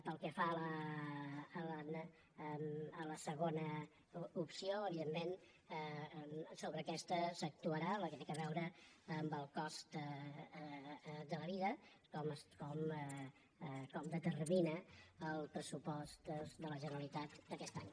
pel que fa a la segona opció evidentment sobre aquesta s’actuarà la que té a veure amb el cost de la vida com determina el pressupost de la generalitat d’aquest any